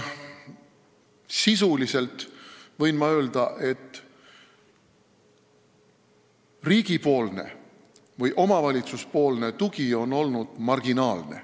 Ma võin öelda, et riigi või omavalitsuse tugi on olnud marginaalne.